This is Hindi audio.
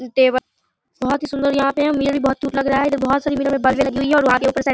टेबल बहोत सुंदर यहां पे हैं लग रहे हैं।